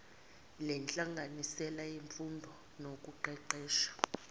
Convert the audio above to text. lenhlanganisela yemfundo nokuqeqesha